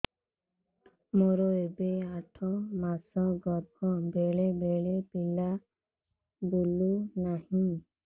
ମୋର ଏବେ ଆଠ ମାସ ଗର୍ଭ ବେଳେ ବେଳେ ପିଲା ବୁଲୁ ନାହିଁ